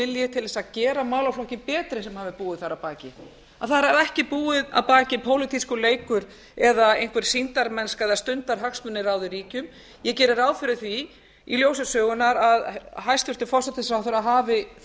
vilji til þess að gera málaflokkinn betri sem hafi búið þar að baki að þar hafi ekki búið að baki pólitískur leikur eða einhver sýndarmennska eða stundarhagsmunir ráðið ríkjum ég geri ráð fyrir því í ljósi sögunnar að hæstvirtur forsætisráðherra hafi þar